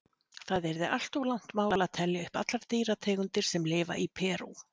Það yrði allt of langt mál að telja upp allar dýrategundir sem lifa í Perú.